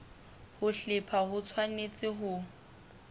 ho hlepha ho tshwanetse ho